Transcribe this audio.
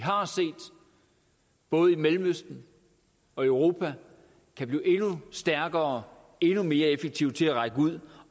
både mellemøsten og i europa kan blive endnu stærkere endnu mere effektiv til at række ud